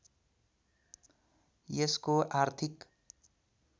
यसको आर्थिक